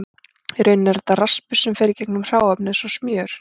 Í rauninni er þetta raspur sem fer í gegnum hráefnið eins og smjör.